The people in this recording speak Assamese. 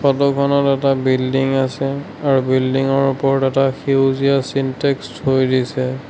ফটোখনত এটা বিল্ডিং আছে আৰু বিল্ডিঙৰ ওপৰত এটা সেউজীয়া ছিনটেক্স থৈ দিছে।